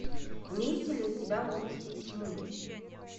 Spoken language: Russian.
имеется ли у тебя области тьмы